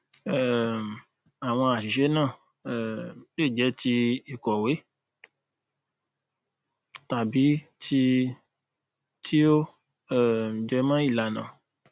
um àwọn àṣìṣe náà um lè jẹ ti ìkòwé tàbí ti ti ó um jẹmọ ìlànà